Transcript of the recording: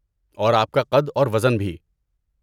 اور آپ کا قد اور وزن بھی۔